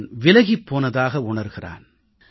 அவன் விலகியிருப்பதை உணர்கிறான்